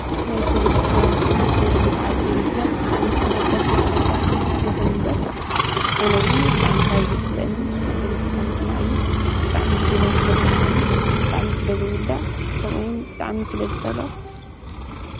ናይ ፖለቲካ ናይ ሓንቲ ዓዲ ንምፍላጥ ብጣዕሚ ኣገዳስን ኣገዳስን ይኩን እምበር ኣነ ግን ብጣዕሚ ካብ ዘፅለአኒ ፖለቲካ ምስማዕ እዩ። ብጣዕሚ ህልናይ ስለ ዝወቅሰኒ ብጣዕሚ ስለዝጉዳእ ከምኡ እውን ብጣዕሚ ስለ ዝፀልኦ።